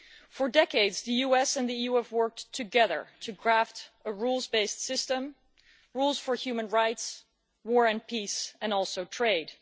For decades the US and the EU have worked together to craft a rules based system rules for human rights, war and peace, and also trade.